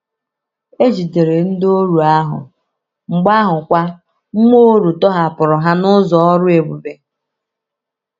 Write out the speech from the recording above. E jidere ndịoru ahụ, mgbe ahụkwa mmụọ oru tọhapụrụ ha n’ụzọ ọrụ ebube.